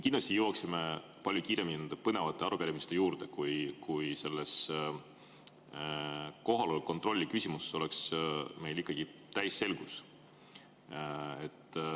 Kindlasti jõuaksime põnevate arupärimiste juurde palju kiiremini, kui meil kohaloleku kontrolli küsimuses oleks täisselgus.